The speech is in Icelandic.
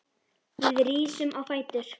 Við rísum á fætur.